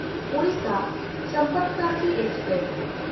Odisha Sampark Kranti express